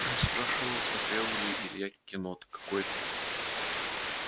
спрашивал смотрел ли илья кино-то какое-то